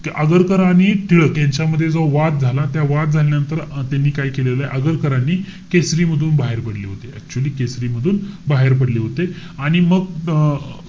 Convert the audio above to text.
आगरकर आणि टिळक यांच्यामध्ये जो वाद झाला. त्या वाद झाल्यानंतर त्यांनी काय केलेलय, आगरकरांनी? केसरी मधून बाहेर पडले होते. Actually केसरी मधून बाहेर पडले होते. आणि मग अं